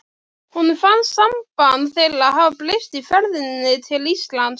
Honum fannst samband þeirra hafa breyst í ferðinni til Íslands.